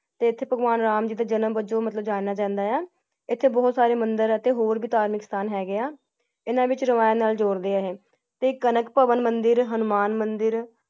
ਤੇ ਏਥੇ ਭਗਵਾਨ ਰਾਮ ਜੀ ਦਾ ਜਨਮ ਵੱਜੋਂ ਮਤਲਬ ਜਾਣਿਆ ਜਾਂਦਾ ਹੈ । ਐਥੇ ਬਹੁਤ ਸਾਰੇ ਮੰਦਿਰ ਅਤੇਹੋਰ ਵੀ ਧਾਰਮਿਕ ਸਥਾਨ ਹੈਗੇ ਹਾ । ਐਨਾ ਵਿਚ ਰਾਮਾਯਣ ਨਾਲ ਜੋੜ ਦੇ ਹੈ ਏ ਤੇ ਕਣਕ ਭਾਵਾਂ ਮੰਦਿਰ, ਹਨੂੰਮਾਨ ਮੰਦਿਰ